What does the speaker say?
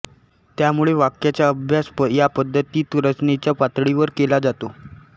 त्यामुळे वाक्याचा अभ्यास या पद्धतीत रचनेच्या पातळीवर केला जातो